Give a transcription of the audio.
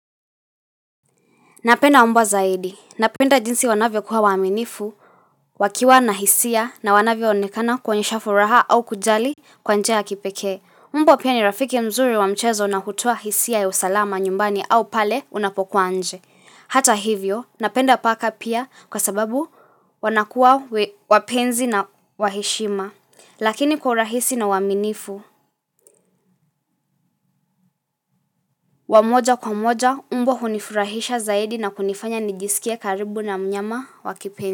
Napenda mbwa zaidi. Napenda jinsi wanavyo kuwa waminifu, wakiwa na hisia na wanavyo onekana kuonyesha furaha au kujali kwa njia kipekee. Mbw pia ni rafiki mzuri wa mchezo na hutoa hisia ya usalama nyumbani au pale unapokuwa nje. Hata hivyo, napenda paka pia kwa sababu wanakuwa wapenzi na waheshima. Lakini kwa urahisi na uaminifu, wa moja kwa moja, mbwa hunifurahisha zaidi na kunifanya nijisikie karibu na mnyama wakipenzi.